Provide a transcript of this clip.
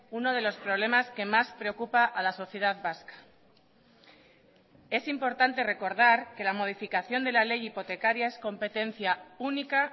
uno de los problemas que más preocupa a la sociedad vasca es importante recordar que la modificación de la ley hipotecaria es competencia única